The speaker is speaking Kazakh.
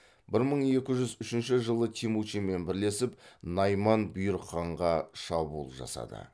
бір мың екі жүз үшінші жылы темучинмен бірлесіп найман бұйрық ханға шабуыл жасады